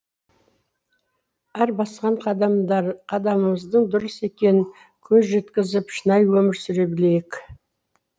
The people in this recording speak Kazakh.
әр басқан қадамымыздың дұрыс екенін көз жеткізіп шынайы өмір сүре білейік